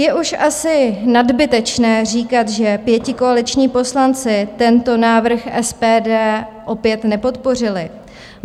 Je už asi nadbytečné říkat, že pětikoaliční poslanci tento návrh SPD opět nepodpořili.